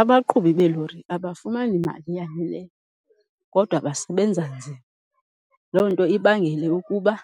Abaqhubi beelori abafumani mali yaneleyo kodwa basebenza nzima. Loo nto ibangele ukuba